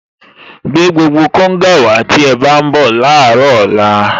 Gbé gbogbo konga wàá tí ẹ bá ń bọ̀ láàárọ̀ ọ̀la